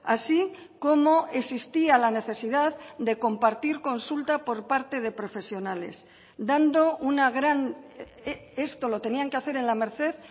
así como existía la necesidad de compartir consulta por parte de profesionales dando una gran esto lo tenían que hacer en la merced